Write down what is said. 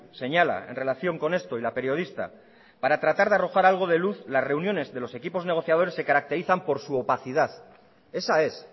señala en relación con esto y la periodista para tratar de arrojar algo de luz las reuniones de los equipos negociadores se caracterizan por su opacidad esa es